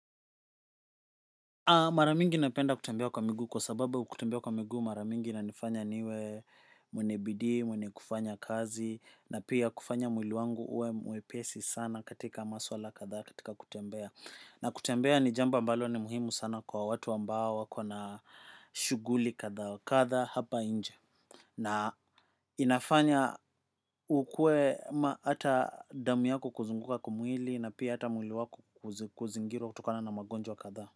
Maramingi napenda kutembea kwa miguu kwa sababu kutembea kwa miguu mara mingi inanifanya niwe mwenye bidii mwenye kufanya kazi na pia kufanya mwili wangu uwe mwepesi sana katika masuala katha katika kutembea na kutembea ni jambo ambalo ni muhimu sana kwa watu ambao wakona shuguli katha katha hapa nje na inafanya ukue maata damu yako kuzunguka kwa mwili na pia hata mwili wako kuzingirwa kutokana na magonjwa katha.